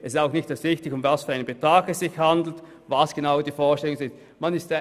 Es ist auch nicht wichtig, um welchen Betrag es sich genau handelt und welche Vorstellungen bestehen.